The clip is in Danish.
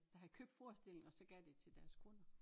Der havde købt forestillingen og så gav de det til deres kunder